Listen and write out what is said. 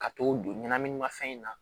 Ka t'o don ɲɛnaminimafɛn in na